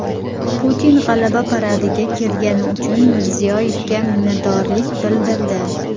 Putin G‘alaba paradiga kelgani uchun Mirziyoyevga minnatdorlik bildirdi .